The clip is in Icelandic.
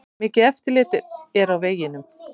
Mikið eftirlit er á vegunum